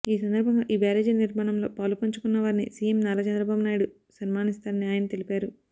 ఈ సందర్భంగా ఈ బ్యారేజి నిర్మాణంలో పాలు పంచుకున్నవారిని సీఎం నారా చంద్రబాబు నాయుడు సన్మానిస్తారని ఆయన తెలిపారు